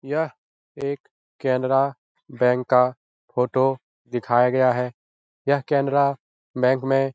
यह एक केनरा बैंक का फोटो दिखाया गया है यह केनरा बैंक में --